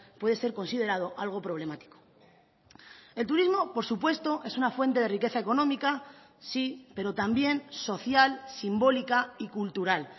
puede ser considerado algo problemático el turismo por supuesto es una fuente de riqueza económica sí pero también social simbólica y cultural